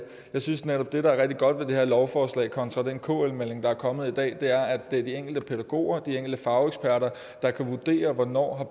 jeg synes netop at det der er rigtig godt ved det her lovforslag kontra den kl melding der er kommet i dag er at det er de enkelte pædagoger og de enkelte fageksperter der kan vurdere hvornår